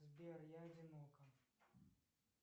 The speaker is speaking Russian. сбер я одинока